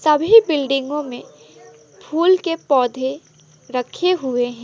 सभी बिल्डिंगों में फूल के पौधे रखें हुये हैं।